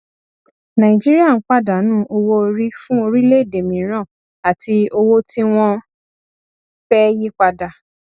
nàìjíríà ń pàdánù owóorí fún orílẹèdè mìíràn àti owó tí wọn fẹ yí padà